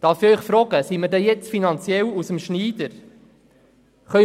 Darf ich fragen, ob wir finanziell aus dem Schneider sind?